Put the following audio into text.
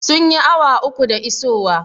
Sun yi awa uku da isowa?